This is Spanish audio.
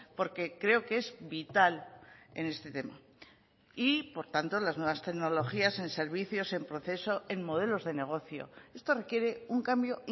porque creo que es vital en este tema y por tanto las nuevas tecnologías en servicios en proceso en modelos de negocio esto requiere un cambio